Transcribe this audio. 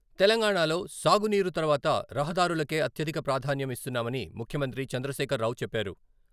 తెలంగాణలో సాగునీరు తర్వాత రహదారులకే అత్యధిక ప్రాధాన్యం ఇస్తున్నామని ముఖ్యమంత్రి చంద్రశేఖర్రావు చెప్పారు.